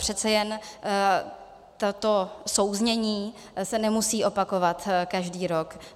Přece jen toto souznění se nemusí opakovat každý rok.